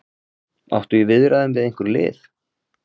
Áttu í viðræðum við einhver lið?